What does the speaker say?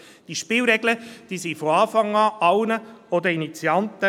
Diese Spielregeln waren von Anfang an allen bekannt, auch den Initianten.